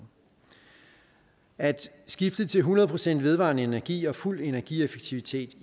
at skifte til hundrede procent vedvarende energi og fuld energieffektivitet